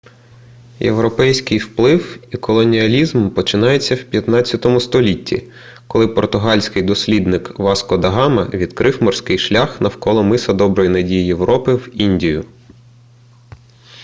європейський вплив і колоніалізм почалися в 15 столітті коли португальський дослідник васко да гама відкрив морський шлях навколо миса доброї надії європи в індію